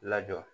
Lajɔ